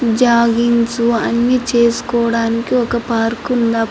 joggings అన్ని చేసుకోడానికి ఒక పార్క్ ఉంద --